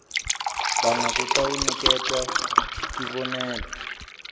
banga kutawuniketwa tibonelo